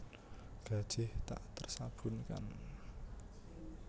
Gajih tak tersabunkan